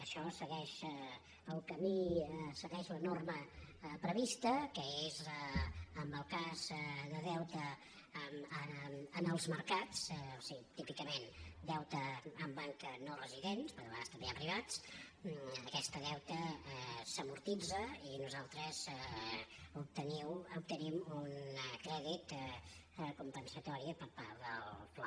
això segueix el camí segueix la norma prevista que és en el cas de deute en els mercats o sigui típicament deute en banca no residents perquè a vegades també hi ha privats aquest deute s’amortitza i nosaltres obtenim un crèdit compensatori per part del fla